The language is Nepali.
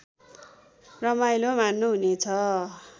रमाइलो मान्नुहुनेछ